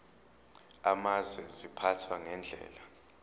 amazwe ziphathwa ngendlela